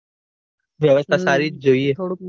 વ્યવસ્થા સારી જ જોઈએ.